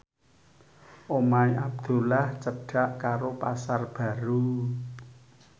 omahe Abdullah cedhak karo Pasar Baru